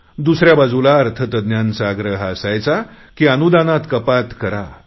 दुसऱ्या बाजूला अर्थतज्ञांचा आग्रह असायचा की अनुदानात कपात करा